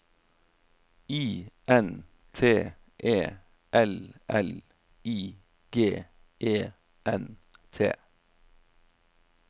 I N T E L L I G E N T